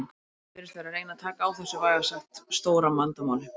En liðið virðist vera að reyna taka á þessu vægast sagt stóra vandamáli.